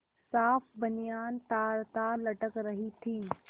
साफ बनियान तारतार लटक रही थी